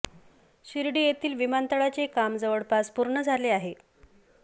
शिर्डी येथील विमानतळाचे काम जवळपास पूर्ण झाले आहे